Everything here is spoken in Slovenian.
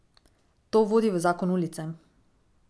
To vodi v zakon ulice.